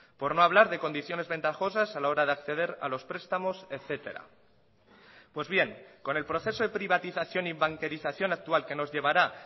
porno hablar de condiciones ventajosas a la hora de acceder a los prestamos etcétera pues bien con el proceso de privatización y banquerización actual que nos llevará